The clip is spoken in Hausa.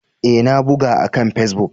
Ee, na buga akan Facebook.